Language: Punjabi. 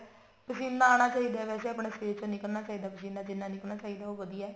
ਪਸੀਨਾ ਆਉਣਾ ਚਾਹਿਦਾ ਵੈਸੇ ਆਪਣੇ ਸ਼ਰੀਰ ਚੋ ਨਿਕਲਣਾ ਚਾਹੀਦਾ ਪਸੀਨਾ ਜਿੰਨਾ ਨਿਕਲਣਾ ਚਾਹੀਦਾ ਉਹ ਵਧੀਆ